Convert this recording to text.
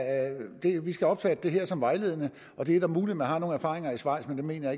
vi skal opfatte det her som vejledende det er muligt at man har nogle erfaringer i schweiz men dem mener